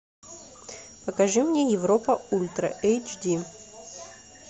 покажи мне европа ультра эйч ди